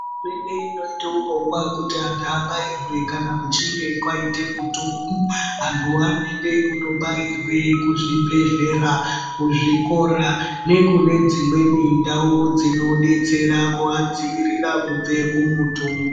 Hurumenge inoita urongwa wekuti antu abairwe kuchinge kwaita mutungu antuwo vanoenda kundobairwa kuzvibhedhlera, zvikora nekune dzimweni ndau dzinodetsera kuadzivirira kubva kumutungu.